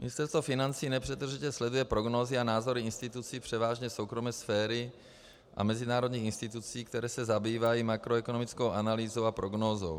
Ministerstvo financí nepřetržitě sleduje prognózy a názory institucí převážně soukromé sféry a mezinárodních institucí, které se zabývají makroekonomickou analýzou a prognózou.